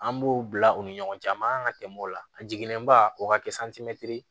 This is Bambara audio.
An b'o bila u ni ɲɔgɔn cɛ a man kan ka tɛmɛ o la a jiginnen ba o ka kɛ santimɛtiri